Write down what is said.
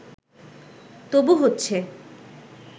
তবু হচ্ছে